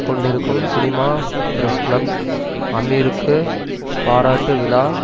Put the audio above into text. கொண்டிருக்கும் cinema press club அமீருக்கு பாராட்டு விழா